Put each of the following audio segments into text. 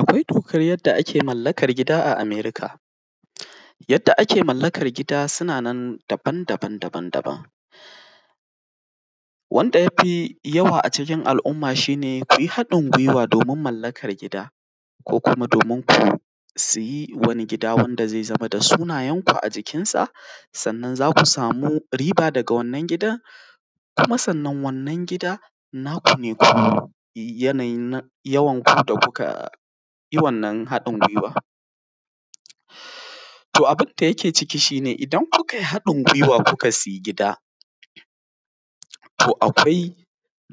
Akwai dokan yadda ake mallakan gida a Amerika. Yadda ake mallakar gida sunanan daban-daban daban, wanda ya fi yawa a cikin al’umma shi ne ku yi haɗin gwiwa domin mallakar gida ko kuma domin ku siyi wani gida wanda zai zama da sunayenku a jikinsa. Sannan za ku samu riba daga wannan gidan kuma, sannan wannan gida naku ne ku yanayin yawanku da kuka yi wannan haɗin gwiwa. To, abin da yake ciki shi ne idan kuka yi haɗin gwiwa kuka sai gida to akwai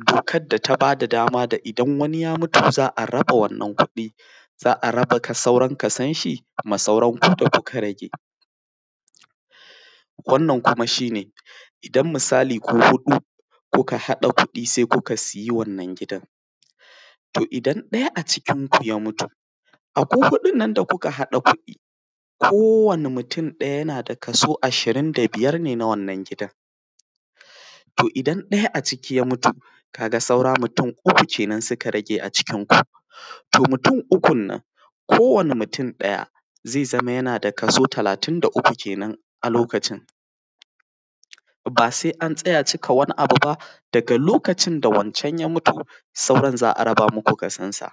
dokan da ta ba da dama da idan wani ya mutu za a raba wannan kuɗi za a raba, sauran Kason shi da kuma sauran ku da kuka rage, wannan kuma shi ne idan misali ku huɗu kuka haɗa kuɗi sai kuka siyi wannan gidan, to idan ɗaya a cikin ku ya mutu, a ku huɗun nan da kuka haɗa kuɗi kowanne mutum ɗaya yana da kaso ashirin da biyar ne na wannan gidan. To, idan ɗaya a ciki ya mutu ka ga saura mutum uku kenan suka rage a cikin ku, to mutum ukun nan ko wani mutum ɗaya zai zama yana da kaso talatin da uku kenan a lokacin ba sai an tsaya cika wani abu ba daga lokacin da wancan ya mutu sauran za a raba muku kasonsa,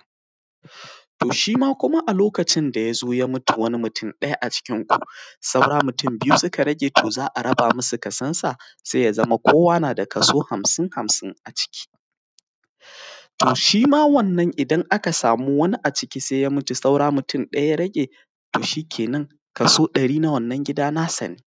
to shi ma kuma a lokacin da ya zo ya mutu wani mutum ɗaya a cikinku saura mutum biyu suka rage. To, zaa raba musu kasonsa sai ya zama kowa na da kaso hamsin-hamsin a ciki, to shima wannan idan aka samu wani a ciki sai ya mutu saura mutum ɗaya ya rage to shi kenan koso ɗari na wannan gida nasa ne.